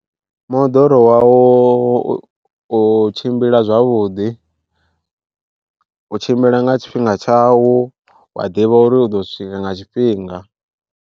Moḓoro wau u tshimbila zwavhuḓi, u tshimbila nga tshifhinga tshau wa ḓivha uri u ḓo swika nga tshifhinga.